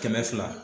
Kɛmɛ fila